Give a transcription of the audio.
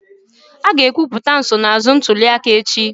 A ga-ekwupụta nsonaazụ ntuli aka echi.